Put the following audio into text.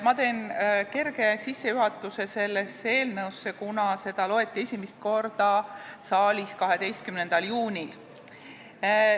Ma teen väikese sissejuhatuse sellesse eelnõusse, kuna seda loeti esimest korda saalis 12. juunil.